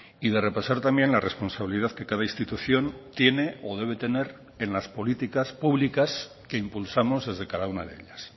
y de repasar también la responsabilidad que cada institución tiene o debe tener en las políticas públicas que impulsamos desde cada una de ellas